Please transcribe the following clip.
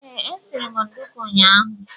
Ee, e siri m ndùkú ụnyaahụ